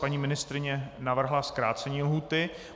Paní ministryně navrhla zkrácení lhůty.